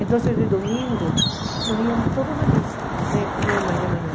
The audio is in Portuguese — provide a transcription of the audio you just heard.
Então, de domingo, nós íamos todos à missa né com minha mãe de manhã.